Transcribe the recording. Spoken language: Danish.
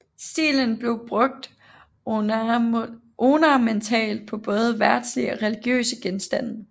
Stilen blev brugt ornamentalt på både verdslige og religiøse genstande